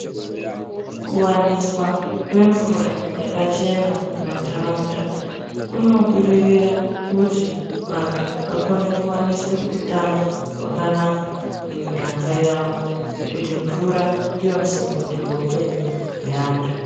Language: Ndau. Kuwandiswa kwemvura yakachena mumandaraunda kunobudirira kuti vantu vakone kuwaniswa hutano hwakanaka mumiganga yawo ngekuti mvura ndiwo musimboti wehupenyu wevantu.